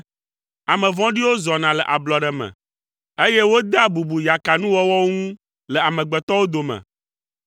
Ame vɔ̃ɖiwo zɔna le ablɔɖe me, eye wodea bubu yakanuwɔwɔwo ŋu le amegbetɔwo dome.